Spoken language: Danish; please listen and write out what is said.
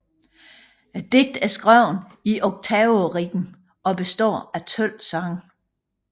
Digtet er skrevet i oktaverim og består af 12 sange